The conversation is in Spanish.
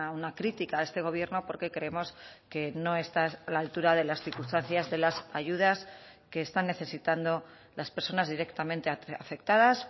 una crítica a este gobierno porque creemos que no está a la altura de las circunstancias de las ayudas que están necesitando las personas directamente afectadas